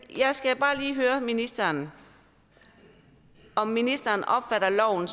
jeg skal bare lige høre ministeren om ministeren opfatter loven